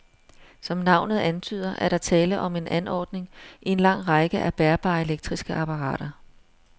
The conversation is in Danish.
Som navnet antyder, er der tale om en anordning i en lang række af bærbare elektriske apparater.